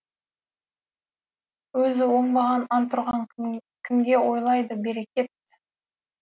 өзі оңбаған антұрған кімге ойлайды берекет